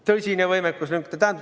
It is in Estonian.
Tõsine võimekuslünk!